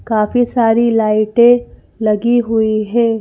काफी सारी लाइटें लगी हुई है।